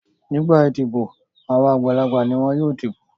Nígbà idibo àwọn àgbàlagbà ni wọn yóò dìbò.